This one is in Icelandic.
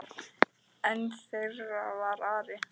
Einn þeirra var Ari.